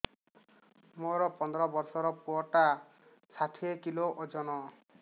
ମୋର ପନ୍ଦର ଵର୍ଷର ପୁଅ ଟା ଷାଠିଏ କିଲୋ ଅଜନ